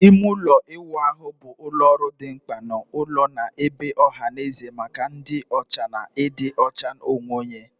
Ime ụlọ ịwụ ahụ bụ ụlọ ọrụ dị mkpa n'ụlọ na ebe ọha na eze maka ịdị ọcha na ịdị ọcha onwe onye.